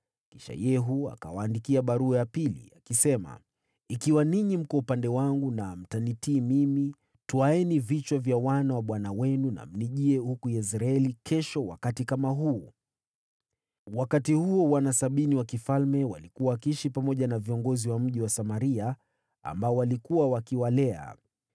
Kisha Yehu akawaandikia barua ya pili, akisema, “Ikiwa ninyi mko upande wangu na mtanitii mimi, twaeni vichwa vya wana wa bwana wenu, na mnijie huku Yezreeli kesho wakati kama huu.” Wakati huo wana sabini wa mfalme walikuwa wakiishi pamoja na viongozi wa mji wa Samaria, waliokuwa wakiwalea.